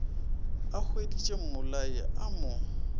a hweditše mmolai a mo